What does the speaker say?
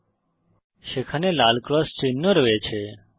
বিজ্ঞপ্তি যে সেখানে লাল ক্রস চিহ্ন রয়েছে